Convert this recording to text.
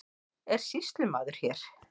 Er sýslumaður hér?